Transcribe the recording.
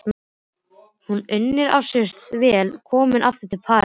Hún unir sér þó vel komin aftur til Parísar.